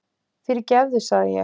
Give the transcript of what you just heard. Fyrirgefðu sagði ég.